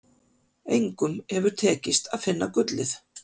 Engum hefur tekist að finna gullið.